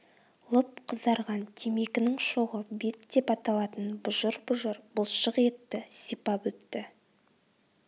лып қызарған темекінің шоғы бет деп аталатын бұжыр-бұжыр бұлшық етті сипап өтті